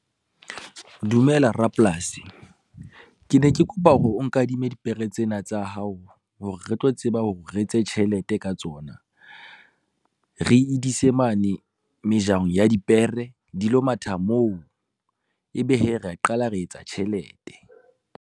Dumela rapolasi. Ke ne ke kopa hore o nkadime dipere tsena tsa hao hore re tlo tseba hore re etse tjhelete ka tsona. Re di ise mane mejahong ya dipere, di lo matha moo ebe hee rea qala re etsa tjhelete.